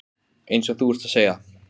Huldís, læstu útidyrunum.